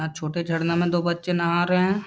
छोटे झरने में दो बच्चें नहा रहें हैं।